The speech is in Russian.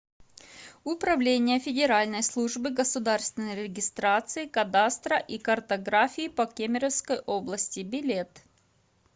управление федеральной службы государственной регистрации кадастра и картографии по кемеровской области билет